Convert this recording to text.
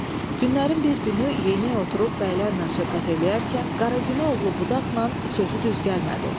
Günlərin bir günü Yeynək oturub bəylərlə söhbət eləyərkən Qara Güne oğlu Budaqla sözü düz gəlmədi.